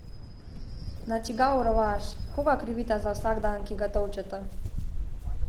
Na čigav rovaš, koga krivita za vsakdan, ki ga tolčeta?